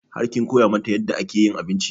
Har kin koya mata yadda ake yin abinci?